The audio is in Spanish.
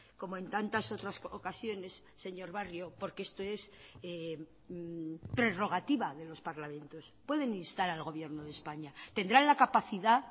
como en tantas otras ocasiones señor barrio porque esto es prerrogativa de los parlamentos pueden instar al gobierno de españa tendrán la capacidad